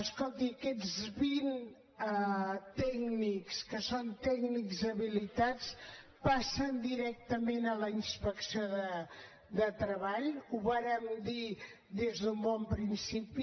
escolti aquests vint tècnics que són tècnics habilitats passen directament a la inspecció de treball ho vàrem dir des d’un bon principi